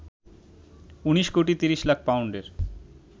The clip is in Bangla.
১৯ কোটি ৩০ লাখ পাউন্ডের